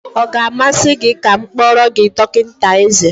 Ọ ga-amasị gị ka m kpọọrọ gị dọkịta eze?